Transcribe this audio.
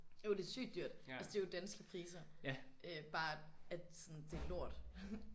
Jo det er sygt dyrt altså det er jo danske priser øh bare at sådan det lort